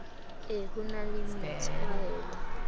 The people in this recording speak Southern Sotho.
e ho na le methwaela